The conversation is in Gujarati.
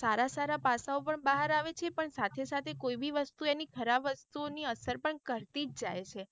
સારા સારા પાસાઓ પણ ભાર આવે છે પણ સાથે સાથે કોઈ બી વસ્તુ એની ખરાબ વસ્તુ ઓની અસર પણ કરતી જ જાય.